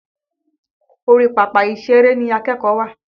Orí papa ìṣèrè ni akẹ́kọ̀ọ́ wà.